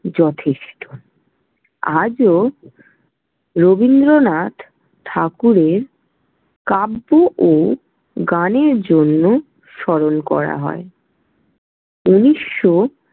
যথেষ্ট। আজও রবীন্দ্রনাথ ঠাকুরের কাব্য ও গানের জন্য গানের জন্য স্মরণ করা হয়। ঊনিশ শো।